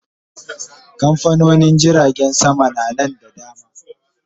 Kamfanonin jiragen sama na Nan da dama